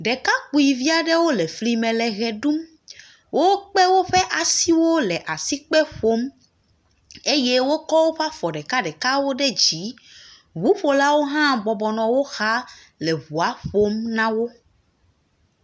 Ɖekakpuivia ɖewo le fli me le ʋe ɖum. Wokpe woƒe asiwo le asikpe ƒom eye wokɔ woƒe afɔ ɖekaɖekawo ɖe dzi. Ŋuƒolawo hã bɔbɔnɔ wo xa le ŋua ƒom na wo.